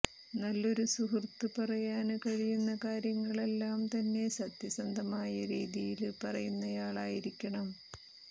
നല്ലൊരു സുഹൃത്ത് പറയാന് കഴിയുന്ന കാര്യങ്ങളെല്ലാം തന്നെ സത്യസന്ധമായ രീതിയില് പറയുന്നയാളായിരിക്കണം